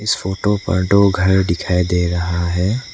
इस फोटो पर दो घर दिखाई दे रहा है।